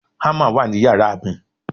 hammer wa ni yàrá mi